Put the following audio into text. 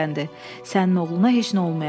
Sənin oğluna heç nə olmayacaq.